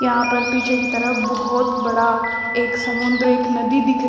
यहां पर पीछे की तरफ बहोत बड़ा एक समुंदर एक नदी दिख--